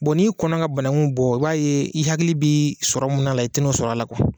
Bɔn n'i kɔnna ka banakuw bɔ, i b'a ye i hakili bɛ sɔrɔ min na , i tɛ n'o sɔrɔ a la kuwa.